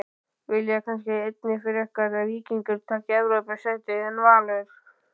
Vilja kannski einnig frekar að Víkingur taki Evrópusætið en Valur?